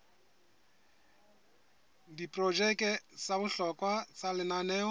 diprojeke tsa bohlokwa tsa lenaneo